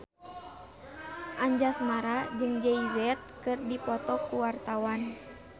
Anjasmara jeung Jay Z keur dipoto ku wartawan